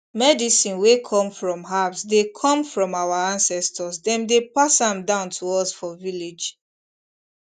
medicine wey come from herbs dey come from our ancestors dem dey pass am down to us for village